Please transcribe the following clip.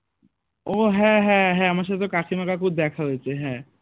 ও হ্যাঁ হ্যাঁ হ্যাঁ আমার সাথে তো কাকিমা কাকুর দেখা হয়েছে হ্যাঁ